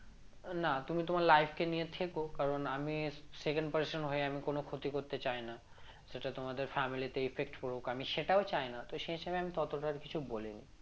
না তুমি তোমার life কে নিয়ে থেকো কারন আমি second person হয়ে আমি কোন ক্ষতি করতে চাইনা সেটা তোমাদের family তে effect পরুক আমি সেটাও চায়না তো সে হিসেবে আমি ততটা আর কিছু বলিনি